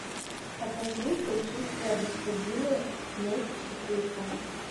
покажи сочувствие господину месть четырка